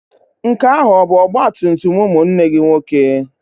Nke ahụ ọ bụ ọgbatumtum ụmụnne gị nwoke?